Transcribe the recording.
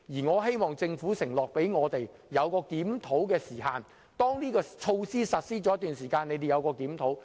我希望政府向我們承諾設立檢討時限，當措施實施了一段時間後進行檢討。